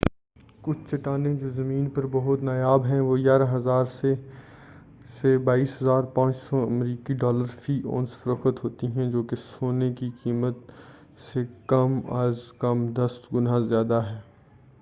کُچھ چٹانیں، جو زمین پر بہت نایاب ہیں، وہ 11،000 سے 22،500 امریکی ڈالر فی اونس فروخت ہوتی ہیں جو کہ سونے کی قیمت سے کم از کم دس گُنا زیادہ ہے۔